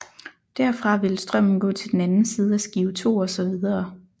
Derfra ville strømmen gå til den anden side af skive 2 og så videre